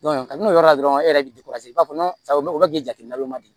ka n'o yɔrɔ la dɔrɔn e yɛrɛ bɛ jateminɛ o man di